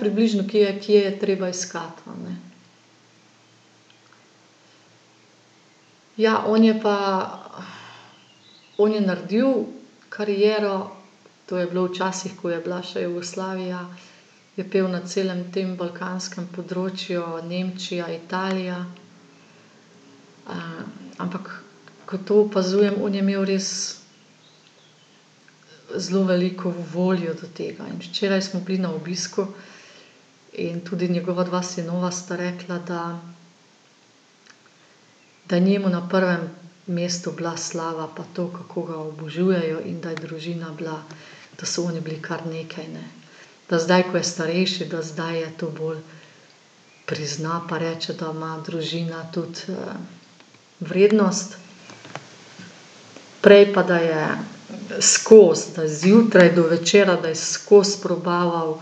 približno, kje, kje je treba iskati, a ne. Ja, on je pa, on je naredil kariero. To je bilo včasih, ko je bila še Jugoslavija, je pel na celem tem balkanskem področju, Nemčija, Italija. ampak ke to opazujem, on je imel res zelo veliko voljo do tega. In včeraj smo bili na obisku in tudi njegova dva sinova sta rekla, da, da je njemu na prvem mestu bila slava pa to, kako ga obožujejo, in da je družina bila, da so oni bili kar nekaj, ne. Da zdaj, ko je starejši, da zdaj je to bolj prizna, pa reče, da ima družina tudi, vrednost. Prej pa da je skozi, da zjutraj do večera, da je skoz probaval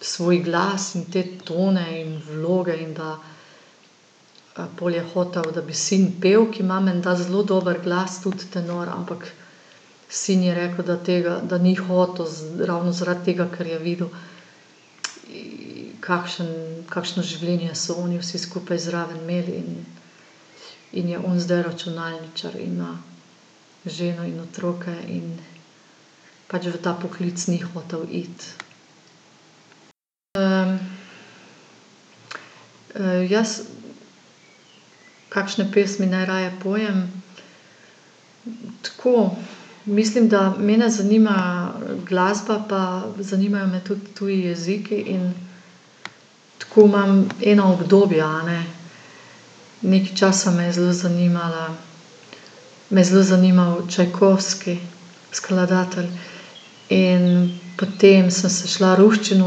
svoj glas in te tone in vloge, in da, pol je hotel, da bi sin pel, ki ima menda zelo dober glas, tudi tenor, ampak sin je rekel, da tega, da ni hotel ravno zaradi tega, ker je videl, kakšen, kakšno življenje so oni vsi skupaj zraven imeli in, in je on zdaj računalničar in ima ženo in otroke in pač v ta poklic ni hotel iti. jaz kakšne pesmi najraje pojem? Tako, mislim, da mene zanima glasba pa zanimajo me tudi tudi jeziki in tako imam ena obdobja, a ne. Nekaj časa me je zelo zanimala, me je zelo zanimal Čajkovski, skladatelj. In potem sem se šla ruščino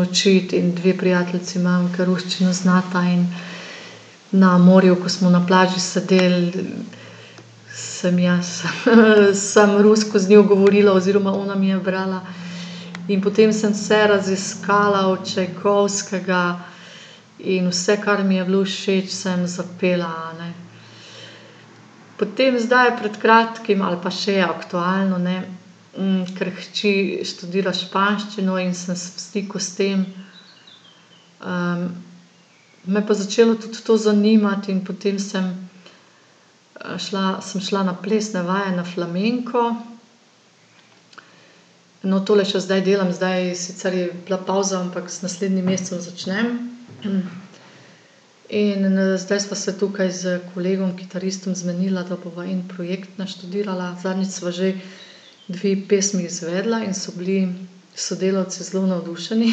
učit in dve prijateljici imam, ke ruščino znata in na morju, ko smo na plaži sedeli, sem jaz, samo rusko z njo govorila oziroma ona mi je brala. In potem sem vse raziskala od Čajkovskega in vse, kar mi je bilo všeč, sem zapela, a ne. Potem zdaj, pred kratkim ali pa še je aktualno, ne, ker hči študira španščino in sem v stiku s tem, me je pa začelo tudi to zanimati in potem sem, šla, sem šla na plesne vaje na flamenko. No, tole še zdaj delam. Zdaj sicer je bila pavza, ampak z naslednjim mesecem začnem, In, zdaj sva se tukaj s kolegom kitaristom zmenila, da bova en projekt naštudirala. Zadnjič sva že dve pesmi izvedla in so bili sodelavci zelo navdušeni,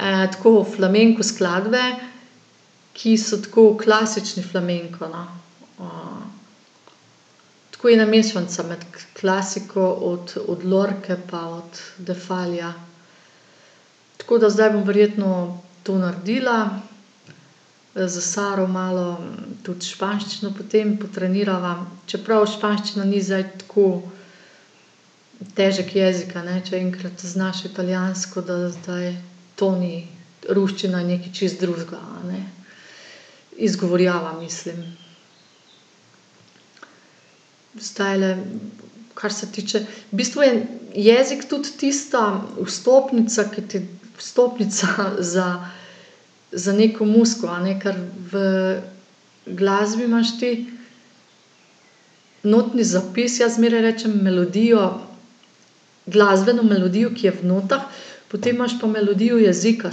tako, flamenko skladbe, ki so tako klasični flamenko, no, tako ena mešanca med klasiko od, od Lorce pa od Defalija. Tako da zdaj bom verjetno to naredila. s Saro malo tudi španščino potem potrenirava, čeprav španščina ni zdaj tako težek jezik, a ne, če enkrat znaš italijansko, da zdaj toni, ruščina je nekaj čisto drugega, a ne. Izgovorjava mislim. Zdajle kar se tiče, v bistvu je jezik tudi tista vstopnica, ki ti, vstopnica za, za neko muziko, a ne, ker v glasbi imaš ti notni zapis, jaz zmeraj rečem melodijo, glasbeno melodijo, ki je v notah, potem imaš pa melodijo jezika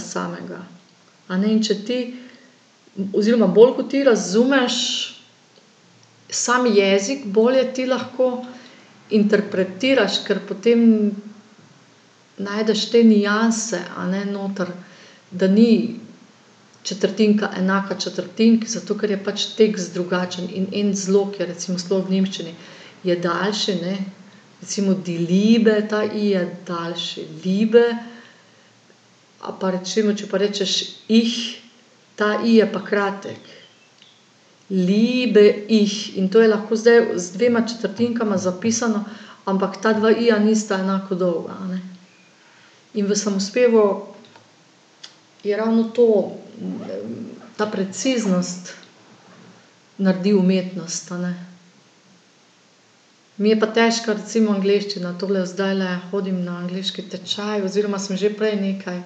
samega, a ne. In če ti, oziroma bolj, kot ti razumeš sam jezik, bolje ti lahko interpretiraš, ker potem najdeš te nianse, a ne, noter. Da ni četrtinka enaka četrtinki, zato ker je pač tekst drugačen. In en zlog je, recimo sploh v nemščini, je daljši, ne, recimo die Liebe, ta in je daljši, Liebe. Ali pa recimo, če pa rečeš ich, ta i je pa kratek. Liebe, ich. In to je lahko zdaj z dvema četrtinkama zapisano, ampak ta dva i-ja nista enako dolga, a ne. In v samospevu je ravno to, ta preciznost naredi umetnost, a ne. Mi je pa težka recimo angleščina, tako da zdajle hodim na angleški tečaj oziroma sem že prej nekaj.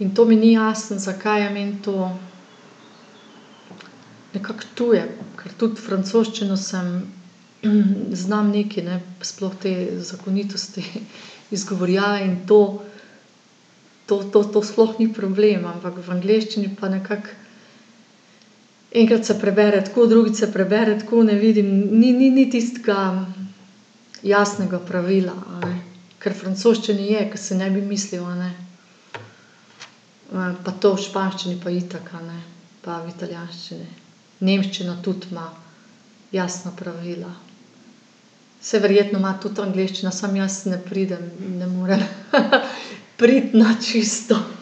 In to mi ni jasno, zakaj je meni to nekako tuje. Ker tudi francoščino sem, znam nekaj, ne, sploh te zakonitosti izgovorjave in to, to, to, to sploh ni problem, ampak v angleščini pa nekako, enkrat se prebere tako, drugič se prebere tako, ne vidim, ni, ni, ni tistega jasnega pravila, a ne. Ker v francoščini je, ke si ne bi mislil, a ne. pa to v španščini pa itak, a ne. Pa v italijanščini. Nemščina tudi ima jasna pravila. Saj verjetno ima tudi angleščina, samo jaz ne pridem, ne morem, priti na čisto.